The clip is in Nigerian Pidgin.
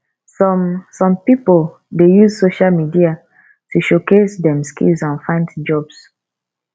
some some pipo dey use social media to showcase dem skills and find jobs